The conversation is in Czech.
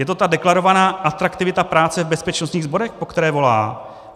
Je to ta deklarovaná atraktivita práce v bezpečnostních sborech, po které volá?